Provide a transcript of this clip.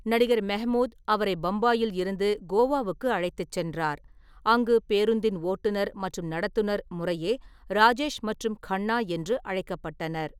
நடிகர் மெஹ்மூத் அவரை பம்பாயில் இருந்து கோவாவுக்கு அழைத்துச் சென்றார், அங்கு பேருந்தின் ஓட்டுநர் மற்றும் நடத்துனர் முறையே 'ராஜேஷ்' மற்றும் 'கன்னா' என்று அழைக்கப்பட்டனர்.